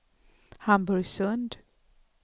Hamburgsund